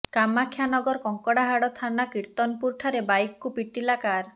କାମାକ୍ଷାନଗର କଙ୍କଡାହାଡ ଥାନା କିର୍ତ୍ତନପୂର ଠାରେ ବାଇକ କୁ ପିଟିଲା କାର